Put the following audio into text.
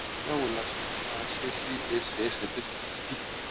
báwo la ṣe lè máa ṣe sí ẹsè ẹsè tó ti di dídì